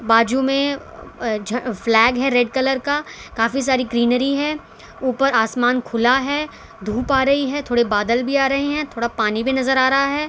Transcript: बाजू में अ झ फ्लैग है रेड कलर काफी सारी ग्रीनरी है ऊपर आसमान खुला है धूप आ रही है थोड़े बादल भी आ रहे हैं थोड़ा पानी भी नजर आ रहा है।